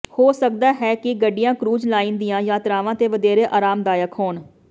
ਹੋ ਸਕਦਾ ਹੈ ਕਿ ਗੱਡੀਆਂ ਕ੍ਰੂਜ਼ ਲਾਈਨ ਦੀਆਂ ਯਾਤਰਾਵਾਂ ਤੇ ਵਧੇਰੇ ਆਰਾਮਦਾਇਕ ਹੋਣ